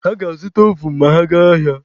Ha ga-azụta ovun ma ha gaa ahịa.